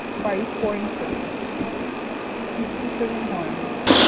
Five point seven fifty-seven হয়না